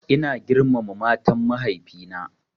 Ina girmama matan mahaifi na